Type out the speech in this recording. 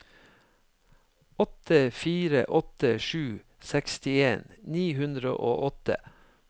åtte fire åtte sju sekstien ni hundre og åtte